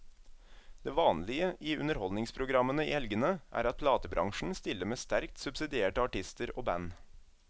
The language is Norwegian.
Det vanlige i underholdningsprogrammene i helgene er at platebransjen stiller med sterkt subsidierte artister og band.